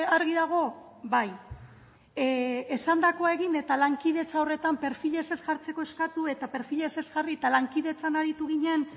argi dago bai esandakoa egin eta lankidetza horretan perfilez ez jartzeko eskatu eta perfilez ez jarri eta lankidetzan aritu ginen